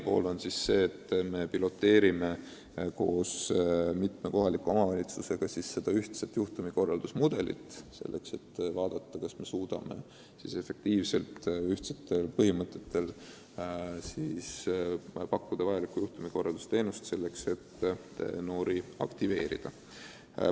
Praegu me piloteerime koos mitme kohaliku omavalitsusega seda ühtset juhtumikorraldusmudelit, et vaadata, kas me suudame ühtsete põhimõtete alusel pakkuda efektiivset teenust, et noori aktiveerida.